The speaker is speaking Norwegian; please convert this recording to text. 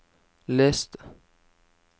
les det